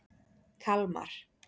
Kalmar